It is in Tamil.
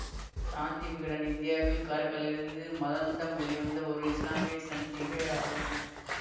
சாந்தி விகடன் இந்தியாவில் காரைக்காலிலிருந்து மதாந்தம் வெளிவந்த ஒரு இசுலாமிய சஞ்சிகையாகும்